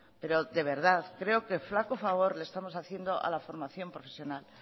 pero de verdad creo que flaco favor le estamos haciendo a la formación profesional